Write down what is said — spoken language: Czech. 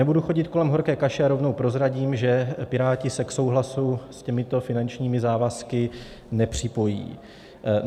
Nebudu chodit kolem horké kaše a rovnou prozradím, že Piráti se k souhlasu s těmito finančními závazky nepřipojí.